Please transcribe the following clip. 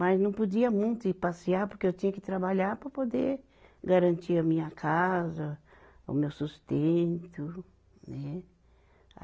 Mas não podia muito ir passear, porque eu tinha que trabalhar para poder garantir a minha casa, o meu sustento, né?